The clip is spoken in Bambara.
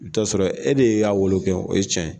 I bi taa sɔrɔ e de y'a wolo kɛ, o ye tiɲɛ ye